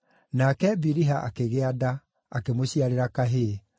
nake Biliha akĩgĩa nda, akĩmũciarĩra kahĩĩ.